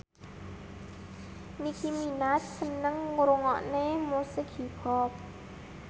Nicky Minaj seneng ngrungokne musik hip hop